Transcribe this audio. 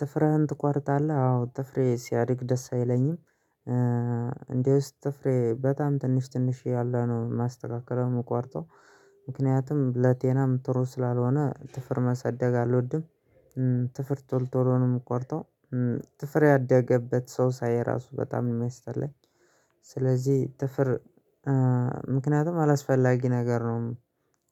ጥፍረህን ትቋርጣለህ አዎ ጥፍሬ ሲያድግ ደስ አይለኝም። እንደውስ ጥፍሬ በጣም ትንሽ ትንሽ ያለ ነው ማስተካከል የምቆርጠው። ምክንያቱም ለጤናም ጥሩ ስላልሆነ ጥፍር ማሰደግ አልወድም። ጥፍር ቶሎ ቶሎ ነው የምቆርጠው። ጥፍር ያደገበት ሰው ሳይ ራሱ በጣም የማይስጠኝ። ስለዚህ ጥፍር ምክንያቱም አላስፈላጊ ነገር ነው።